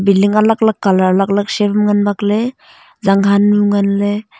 building alak alak colour alak alak shape ma ngan bakley zang han nu ngan ley.